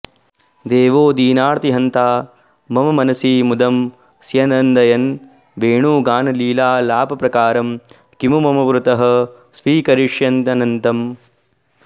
देवो दीनार्तिहन्ता मम मनसि मुदं स्यन्दयन् वेणुगानं लीलालापप्रकारं किमु मम पुरतः स्वीकरिष्यत्यनन्तम्